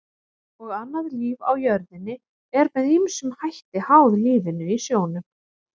Og annað líf á jörðinni er með ýmsum hætti háð lífinu í sjónum.